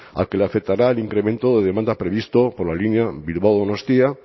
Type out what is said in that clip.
al que le afectará el incremento de demanda previsto por la línea bilbao donostia